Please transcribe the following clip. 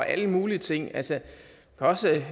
alle mulige ting altså også